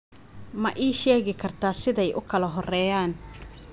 ma ii sheegi kartaa siday u kala horreeyaan